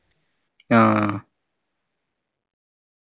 ആഹ്